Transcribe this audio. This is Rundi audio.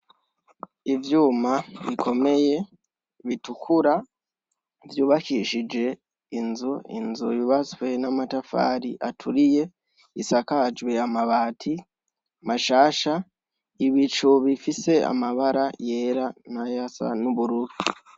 Ivyuma bikomeye bitukura vyubakishije inzu, inzu yubatswe n'amatafari aturiye, isakajwe amabati mashasha, ibicu bifise amabara yera n'ayasa n'ubururu.